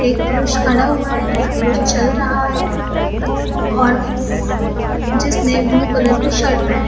एक पुरुष खड़ा हुआ है और एक चल रहा है और जिसने ब्लू कलर की शर्ट पहनी है ।